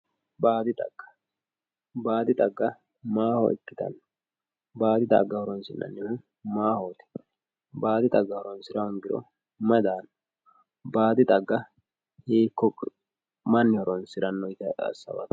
Baadi cagga maaho ikitano baadi xagga horonsinsnihu maahoti baadi xagga horonsira hongiro mayi daano baadi xagga hiiko mani horonsirano yite asawato.